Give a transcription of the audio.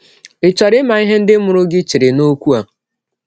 Ị̀ chọrọ ịma ihe ndị mụrụ gị chere n’ọkwụ a?